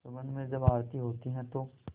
सुगंध में जब आरती होती है तो